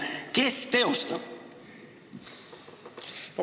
Kes teostab seda järelevalvet?